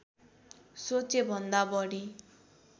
सोचेभन्दा बढी